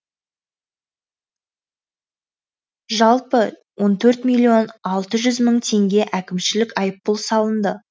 жалпы он төрт миллион алты жүз мың теңге әкімшілік айыппұл салынды